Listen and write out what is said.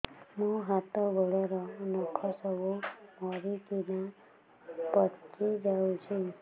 ମୋ ହାତ ଗୋଡର ନଖ ସବୁ ମରିକିନା ପଚି ଯାଉଛି